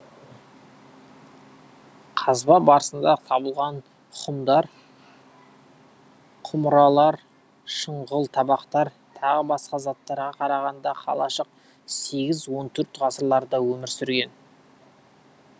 қазба барысында табылған хұмдар құмыралар шұңғыл табақтар тағы басқа заттарға қарағанда қалашық сегіз он төрт ғасырларда өмір сүрген